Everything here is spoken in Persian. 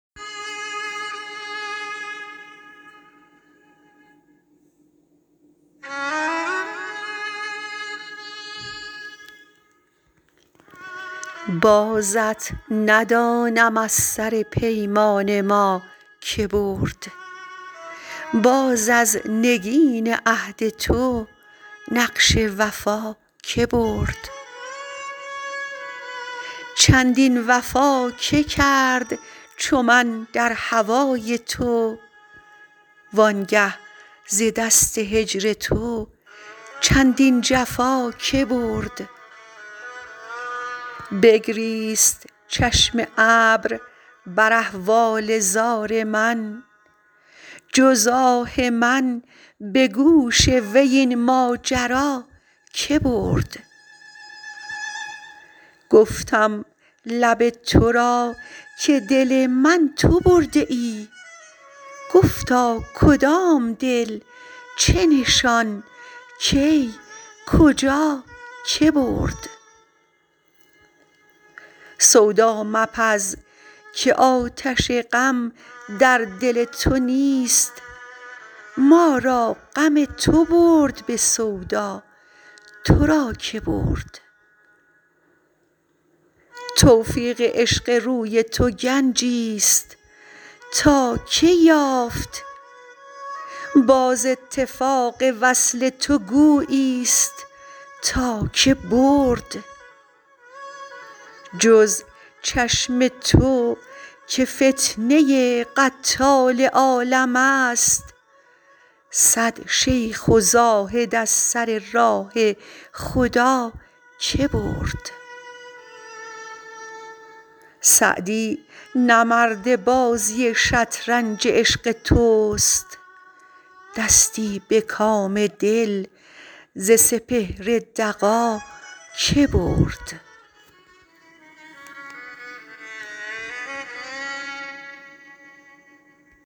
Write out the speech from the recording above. بازت ندانم از سر پیمان ما که برد باز از نگین عهد تو نقش وفا که برد چندین وفا که کرد چو من در هوای تو وان گه ز دست هجر تو چندین جفا که برد بگریست چشم ابر بر احوال زار من جز آه من به گوش وی این ماجرا که برد گفتم لب تو را که دل من تو برده ای گفتا کدام دل چه نشان کی کجا که برد سودا مپز که آتش غم در دل تو نیست ما را غم تو برد به سودا تو را که برد توفیق عشق روی تو گنجیست تا که یافت باز اتفاق وصل تو گوییست تا که برد جز چشم تو که فتنه قتال عالمست صد شیخ و زاهد از سر راه خدا که برد سعدی نه مرد بازی شطرنج عشق توست دستی به کام دل ز سپهر دغا که برد